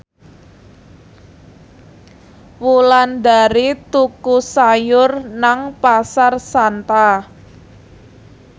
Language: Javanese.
Wulandari tuku sayur nang Pasar Santa